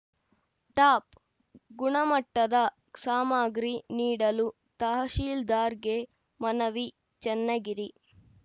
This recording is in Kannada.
ಟಾಪ್‌ ಗುಣಮಟ್ಟದ ಸಾಮಾಗ್ರಿ ನೀಡಲು ತಹಶೀಲ್ದಾರ್‌ಗೆ ಮನವಿ ಚನ್ನಗಿರಿ